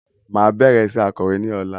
Máa bẹrẹ iṣẹ akọ̀wé ní ọ̀la